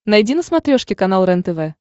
найди на смотрешке канал рентв